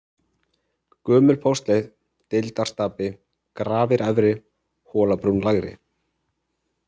Gömul póstleið, Deildarstapi, Grafir-Efri, Hólabrún lægri